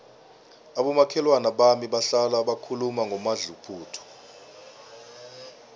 abomakhelwana bami bahlala bakhuluma ngomadluphuthu